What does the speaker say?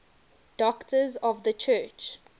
doctors of the church